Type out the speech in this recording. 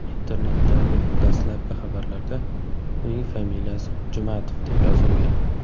Internetdagi dastlabki xabarlarda uning familiyasi Jumatov deb yozilgan.